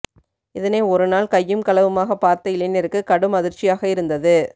இதனை ஒரு நாள் கையும் களவுமாக பார்த்த இளைஞருக்கு கடும் அதிர்ச்சியாக இருந்தது